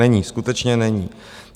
Není, skutečně není.